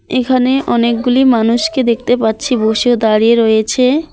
এখানে অনেকগুলি মানুষকে দেখতে পাচ্ছি বসে দাঁড়িয়ে রয়েছে।